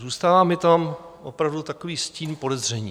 Zůstává mi tam opravdu takový stín podezření.